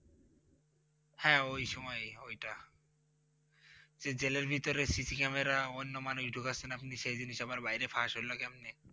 হ্যাঁ ওই সময়ই ওইটা, যে জেলের ভিতরে CC Camera অন্য মানুষ ঢোকাচ্ছেন আপনি সেইজন্য সবার বাইরে ফাঁস হল ক্যামনে?